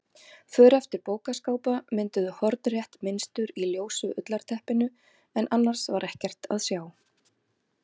För eftir bókaskápa mynduðu hornrétt mynstur í ljósu ullarteppinu en annars var ekkert að sjá.